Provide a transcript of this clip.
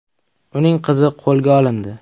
Uning qizi qo‘lga olindi.